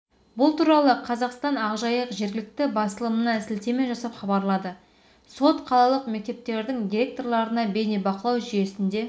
атырауда үш мектептің директорлары лаңкестік әрекетке қарсықорғаныспен қамтамасыз ету бойынша міндеттерін орындамаған бұдан бөлек білім беру мекемелері